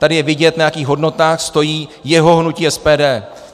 Tady je vidět, na jakých hodnotách stojí jeho hnutí SPD.